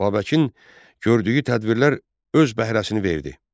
Babəkin gördüyü tədbirlər öz bəhrəsini verdi.